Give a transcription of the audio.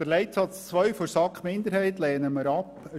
Die Planungserklärung 2 der SAK-Minderheit lehnen wir ab.